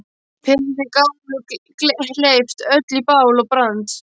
Peðin sem gátu hleypt öllu í bál og brand.